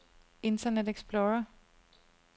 internet explorer